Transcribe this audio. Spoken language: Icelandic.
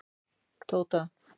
Tóta